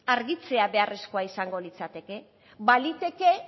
argitzea beharrezkoa izango litzateke